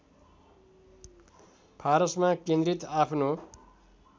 फारसमा केन्द्रित आफ्नो